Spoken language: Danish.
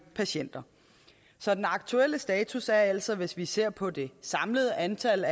patienter så den aktuelle status er altså hvis vi ser på det samlede antal